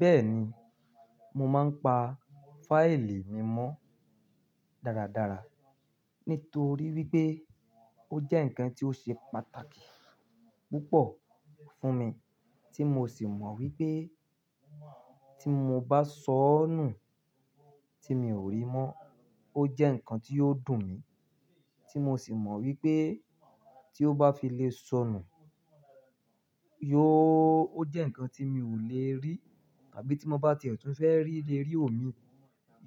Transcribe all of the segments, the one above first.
Bẹ́ẹ̀ni, mo máa ń pa fáìlì mi mọ́ dáradára nítorí wípé ó jẹ́ ǹkan tí ó ṣe pàtàkì púpọ̀ fún mi tí mo sì mọ̀ wípé tí mo bá sọ́nù tí mi ò rí mọ́, ó jẹ́ ǹkan tí yóò dùn mi, tí mo sì mọ̀ wípé tí ó bá fi lè sọ̀nù, yóò ó jẹ́ ǹkan tí mi ò lè rí tàbí tí mo bá ti tún fẹ́ rí lè rí òmíì,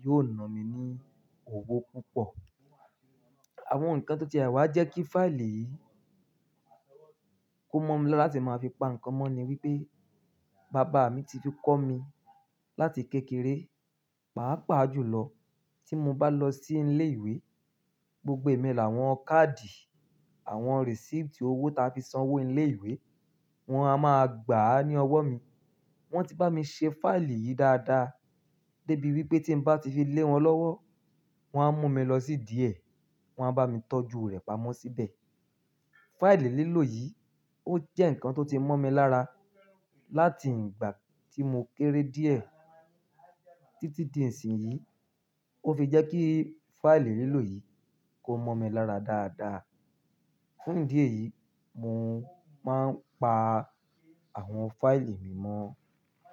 yóò na mi ní owó púpọ̀. Àwọn ǹkan tó ti àwà jẹ́ kí fáìlì kó mọ́ mi láti máa fi pa ǹkan mọ́ ni wípé bàbá mi ti fi kọ́ mi láti kékeré, pàápàá jùlọ tí mo bá lọ sí ilé ìwé, gbogbo èmi làwọn káàdì, àwọn receipt owó ta fi sanwó ilé ìwé, wọ́n a máa gbà á ní ọwọ́ mi. Wọ́n ti bá mi ṣe fáìlì yìí dáadáa débi wípé tí bá ti fi lé wọn lọ́wọ́, wọ́n á mú mi lọ sí díẹ̀, wọ́n á bá mi tọ́jú rẹ̀ pamọ́ síbẹ̀. Fáìlì lílò yìí ó jẹ́ ǹkan tó ti mọ́ mi lára láti ìgbà tí mo kéré díẹ̀ títí di ìsìn yìí. Ó fi jẹ́ kí fáìlì lílò yìí kó mọ́ mi lára dáadáa. Fún idí eyìí mo máa ń pa àwọn fáìlì mi mọ́.